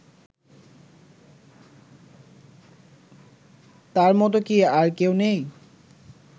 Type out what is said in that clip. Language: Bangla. তার মত কি আর কেউ নেই